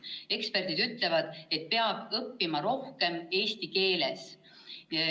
Eksperdid ütlevad, et peab õppima rohkem eesti keeles.